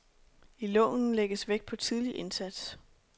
I loven lægges vægt på tidlig indsats.